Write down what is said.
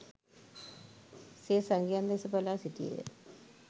සිය සගයන් දෙස බලා සිටියේය